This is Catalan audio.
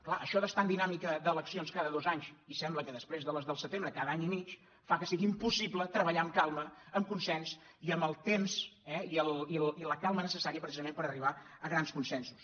clar això d’estar en dinàmica d’eleccions ca·da dos anys i sembla que després de les de setem·bre cada any i mig fa que sigui impossible treballar amb calma amb consens i amb el temps i la calma necessària precisament per arribar a grans consen·sos